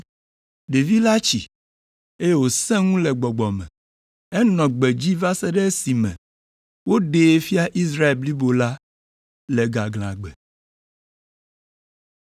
Ɖevi la tsi, eye wòsẽ ŋu le gbɔgbɔ me. Enɔ gbedzi va se ɖe esime woɖee fia Israel blibo la le gaglãgbe.